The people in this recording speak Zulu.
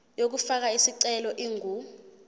yokufaka isicelo ingu